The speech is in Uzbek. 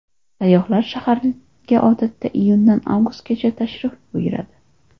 Sayyohlar shaharga odatda iyundan avgustgacha tashrif buyuradi.